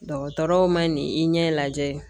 Dɔgɔtɔrɔw ma nin i ɲɛ lajɛ